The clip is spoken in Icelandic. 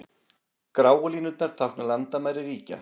Gráu línurnar tákna landamæri ríkja.